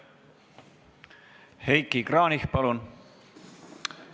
Heiki Kranich, palun!